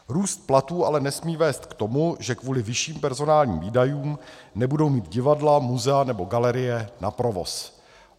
Růst platů ale nesmí vést k tomu, že kvůli vyšším personálním výdajům nebudou mít divadla, muzea nebo galerie na provoz.